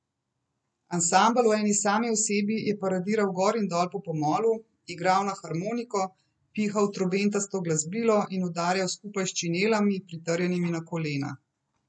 Ansambel v eni sami osebi je paradiral gor in dol po pomolu, igral na harmoniko, pihal v trobentasto glasbilo in udarjal skupaj s činelami, pritrjenimi na kolena.